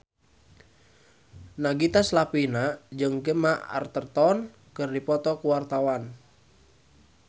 Nagita Slavina jeung Gemma Arterton keur dipoto ku wartawan